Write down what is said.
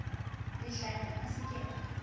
lehlanya a se ke a